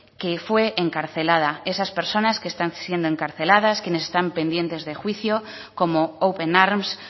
que fue encarcelada esas personas que están siendo encarceladas quienes están pendientes de juicio como open arms